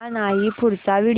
हा नाही पुढचा व्हिडिओ